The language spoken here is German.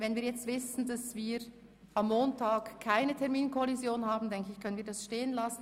Wenn wir nun wissen, dass wir am Montag keine Terminkollision haben, können wir den Antrag 1 stehen lassen.